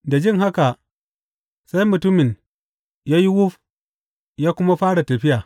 Da jin haka, sai mutumin ya yi wuf ya kuma fara tafiya.